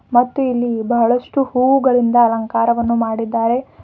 ಮತ್ತು ಇಲ್ಲಿ ಬಹಳಷ್ಟು ಹೂಗಳಿಂದ ಅಲಂಕಾರವನ್ನು ಮಾಡಿದ್ದಾರೆ.